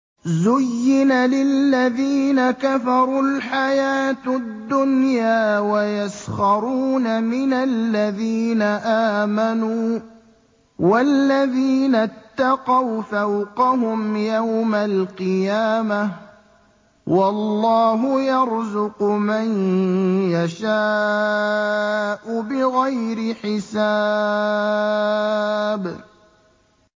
زُيِّنَ لِلَّذِينَ كَفَرُوا الْحَيَاةُ الدُّنْيَا وَيَسْخَرُونَ مِنَ الَّذِينَ آمَنُوا ۘ وَالَّذِينَ اتَّقَوْا فَوْقَهُمْ يَوْمَ الْقِيَامَةِ ۗ وَاللَّهُ يَرْزُقُ مَن يَشَاءُ بِغَيْرِ حِسَابٍ